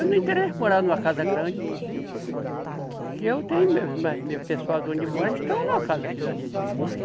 Eu não interesso morar numa casa grande, que eu tenho mais meu pessoal de onde eu moro, eles estão numa casa que dá de eles viver aí.